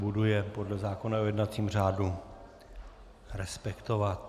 Budu je podle zákona o jednacím řádu respektovat.